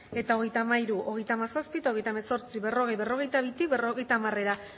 eta hogeita hamairu hogeita hamazazpi eta hogeita hemezortzi berrogei berrogeita bitik berrogeita hamarera